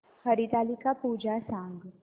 हरतालिका पूजा सांग